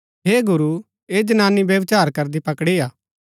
हे गुरू ऐह जनानी व्यभिचार करदै पकड़ी हा